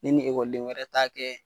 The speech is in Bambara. Ne ni ekɔliden wɛrɛ t'a kɛ